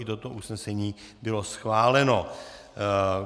I toto usnesení bylo schváleno.